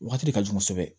Wagati de ka jugu kosɛbɛ